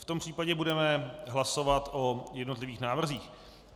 V tom případě budeme hlasovat o jednotlivých návrzích.